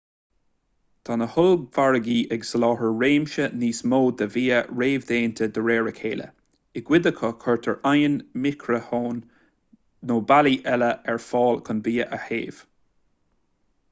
tá na hollmhargaí ag soláthar réimse níos mó de bhia réamhdhéanta de réir a chéile i gcuid acu cuirtear oigheann micreathonn nó bealaí eile ar fáil chun bia a théamh